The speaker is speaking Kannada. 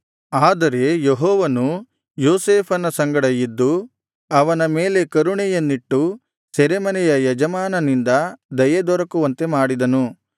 ಆದರೆ ಯೆಹೋವನು ಯೋಸೇಫನ ಸಂಗಡ ಇದ್ದು ಅವನ ಮೇಲೆ ಕರುಣೆಯನ್ನಿಟ್ಟು ಸೆರೆಮನೆಯ ಯಜಮಾನನಿಂದ ದಯೆ ದೊರಕುವಂತೆ ಮಾಡಿದನು